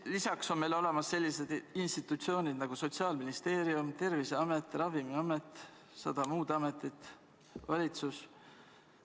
Lisaks on meil olemas sellised institutsioonid nagu Sotsiaalministeerium, Terviseamet, Ravimiamet, sada muud ametit, valitsus.